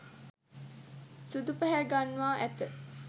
සුදු පැහැගන්වා ඇත.